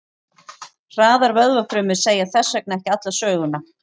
Hraðar vöðvafrumur segja þess vegna ekki alla söguna.